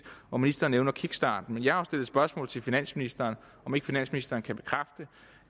og ministeren nævner kickstarten men jeg har jo stillet spørgsmål til finansministeren om ikke finansministeren kan bekræfte